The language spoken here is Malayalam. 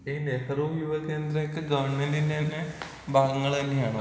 ഈ നെഹ്റു യുവ കേന്ദ്രയൊക്കെ ഗവൺമെന്റിന്റെന്നെ ഭാഗങ്ങൾന്നെയാണോ?